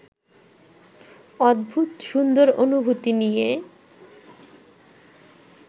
অদ্ভুত সুন্দর অনুভূতি নিয়ে